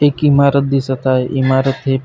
एक इमारत दिसत हाय इमारती--